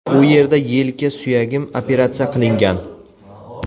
U yerda yelka suyagim operatsiya qilingan.